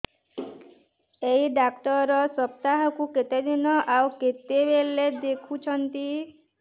ଏଇ ଡ଼ାକ୍ତର ସପ୍ତାହକୁ କେତେଦିନ ଆଉ କେତେବେଳେ ଦେଖୁଛନ୍ତି